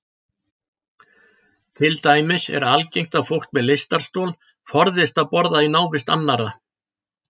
Til dæmis er algengt að fólk með lystarstol forðist að borða í návist annarra.